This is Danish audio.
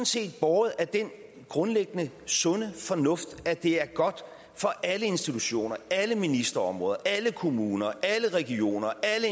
set båret af den grundlæggende sunde fornuft at det er godt for alle institutioner alle ministerområder alle kommuner alle regioner